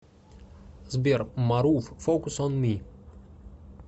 сбер марув фокус он ми